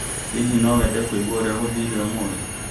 Hihi no wende kũigua ũrĩa gwathire ũmũthĩ